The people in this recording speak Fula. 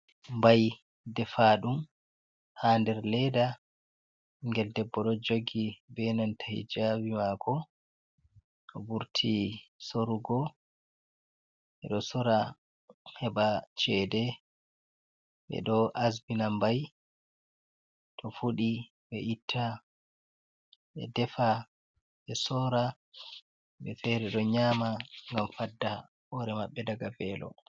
Bai defa ɗum ha der ledda gel debbo do jogi be nanta hijavi mako vurti sorugo bedo sora heba cede be do asbina mbai to fudi be itta be defa be sora be fere do nyama gam fadda hore mabbe daga felo.